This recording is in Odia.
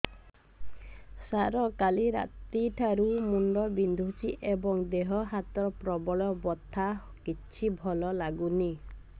ସାର କାଲି ରାତିଠୁ ମୁଣ୍ଡ ବିନ୍ଧୁଛି ଏବଂ ଦେହ ହାତ ପ୍ରବଳ ବଥା କିଛି ଭଲ ଲାଗୁନି